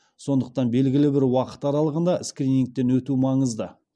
сондықтан белгілі бір уақыт аралығында скринингтен өту маңызды